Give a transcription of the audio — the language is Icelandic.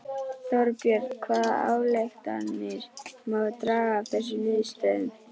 Þorbjörn hvaða ályktanir má draga af þessum niðurstöðum?